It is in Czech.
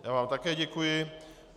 Já vám také děkuji.